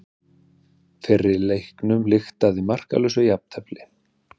Fyrri leiknum lyktaði með markalausu jafntefli